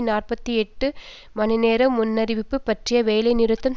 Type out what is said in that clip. நாற்பத்தி எட்டு மணி நேர முன்னறிவிப்பு பற்றிய வேலைநிறுத்த